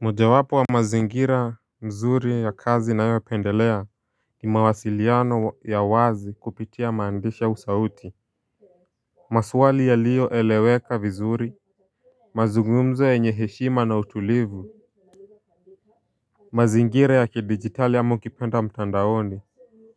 Mojawapo wa mazingira mzuri ya kazi nayopendelea ni mawasiliano ya wazi kupitia maandishi au sauti. Maswali yaliyoeleweka vizuri. Mazungumzo yenye heshima na utulivu. Mazingira ya kidigitali ama ukipenda mtandaoni.